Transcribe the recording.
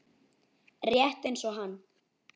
Rétt eins og hann.